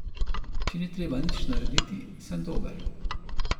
Če ni treba nič narediti, sem dober.